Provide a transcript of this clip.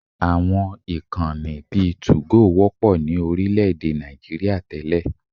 Àwọn ìkànnì bíi 2go wọ́pọ̀ ní orílẹ̀-èdè Nigeria tẹ́lẹ̀